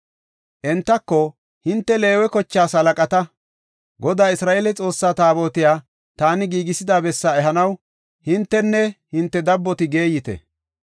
Entako, “Hinte Leewe kochaas halaqata. Godaa Isra7eele Xoossaa Taabotiya taani giigisida bessaa ehanaw hintenne hinte dabboti geeyite.